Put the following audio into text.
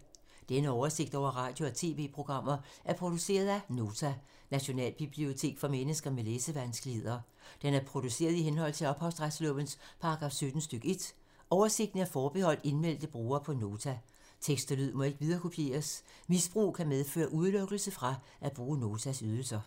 Denne oversigt over radio og TV-programmer er produceret af Nota, Nationalbibliotek for mennesker med læsevanskeligheder. Den er produceret i henhold til ophavsretslovens paragraf 17 stk. 1. Oversigten er forbeholdt indmeldte brugere på Nota. Tekst og lyd må ikke viderekopieres. Misbrug kan medføre udelukkelse fra at bruge Notas ydelser.